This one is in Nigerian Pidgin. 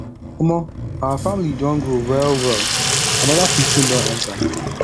omo our family don grow wellwell anoda pikin don enta